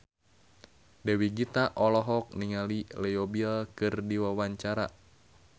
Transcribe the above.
Dewi Gita olohok ningali Leo Bill keur diwawancara